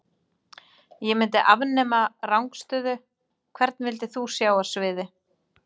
Ég myndi afnema rangstöðu Hvern vildir þú sjá á sviði?